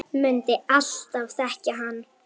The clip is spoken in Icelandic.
Mundi alltaf þekkja hann.